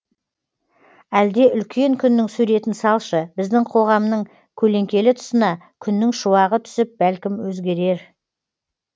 әлде үлкен күннің суретін салшы біздің қоғамның көлеңкелі тұсына күннің шуағы түсіп бәлкім өзгерер